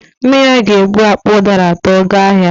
Nne ya ga-ebu akpa ụdara atọ gaa ahịa